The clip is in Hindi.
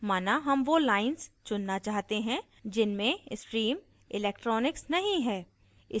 माना हम वो lines चुनना चाहते हैं जिनमें stream electronics नहीं है